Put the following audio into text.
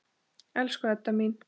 Elsku Edda mín.